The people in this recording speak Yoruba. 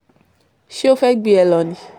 ṣé ó fẹ́ẹ́ gbé e lọ ni